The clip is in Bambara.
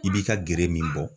I b'i ka gere min bɔ